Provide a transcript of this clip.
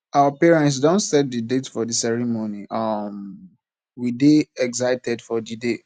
our parents don set the date for the ceremony um we dey excited for di day